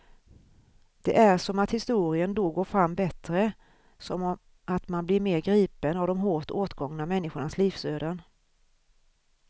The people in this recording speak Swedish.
Det är som att historien då går fram bättre, som att man blir mer gripen av de hårt åtgångna människornas livsöden.